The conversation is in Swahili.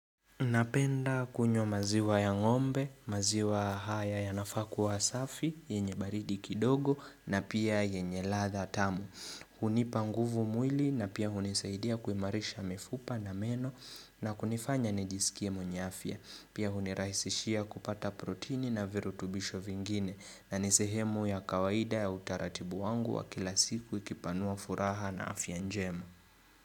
Napenda kunywa maziwa ya ngombe, maziwa haya yanafaa kuwa safi, yenye baridi kidogo na pia yenye ladha tamu. Hunipa nguvu mwili na pia hunisaidia kuimarisha mifupa na meno na kunifanya nijisikie mwenye afya. Pia hunirahisishia kupata proteni na virutubisho vingine na ni sehemu ya kawaida ya utaratibu wangu wa kila siku ikipanua furaha na afya njema.